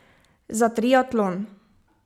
Za triatlon.